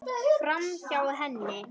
Framhjá henni.